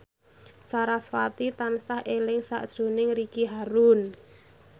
sarasvati tansah eling sakjroning Ricky Harun